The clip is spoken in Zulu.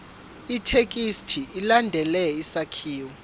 ithekisthi ilandele isakhiwo